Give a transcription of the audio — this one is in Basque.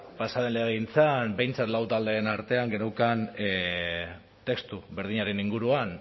pasa den legegintzan behintzat lau taldeen artean geneukan testu berdinaren inguruan